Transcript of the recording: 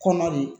Kɔnɔ de